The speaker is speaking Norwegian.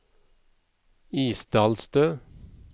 Isdalstø